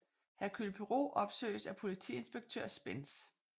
Hercule Poirot opsøges af politiinspektør Spence